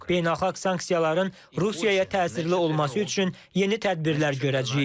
Beynəlxalq sanksiyaların Rusiyaya təsirli olması üçün yeni tədbirlər görəcəyik.